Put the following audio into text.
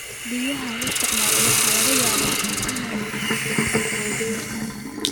Biyaha la isticmaalo waxa laga yaabaa inay wasakhoobaan.